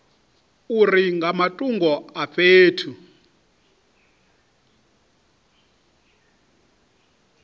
uri nga matungo a fhethu